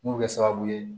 Mun bɛ kɛ sababu ye